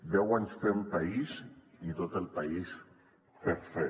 deu anys fent país i tot el país per fer